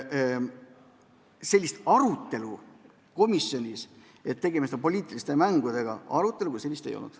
Sellist arutelu, kas tegemist on poliitiliste mängudega, komisjonis ei olnud.